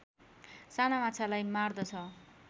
साना माछालाई मार्दछ